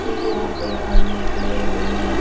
ये यहां पे आदमी खड़े हुए हैं।